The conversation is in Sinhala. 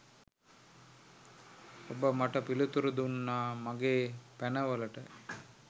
ඔබ මට පිළිතුරු දුන්නා මගේ පැනවලට.